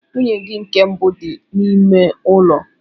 Nwunye gị nke mbụ dị n'ime ụlọ.